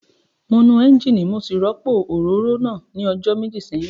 Mo nu ẹ́ńjíìnì mo sì rọ́pò òróró náà ní ọjọ́ méjì sẹ́yìn